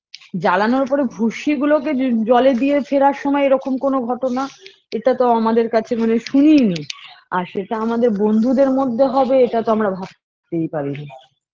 জ্বালানোর পরে ভূস্মিগুলোকে জ জলে দিয়ে ফেরার সময়ে এরকম কোন ঘটনা এটাতো আমাদের কাছে মানে শুনিইনি আর সেটা আমাদের বন্ধুদের মধ্যে হবে এটা তো আমারা ভাবতেই পারিনি